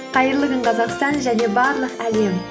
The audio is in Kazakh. қайырлы күн қазақстан және барлық әлем